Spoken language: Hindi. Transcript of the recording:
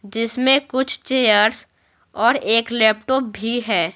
जिसमें कुछ चेयर्स और एक लैपटॉप भी है।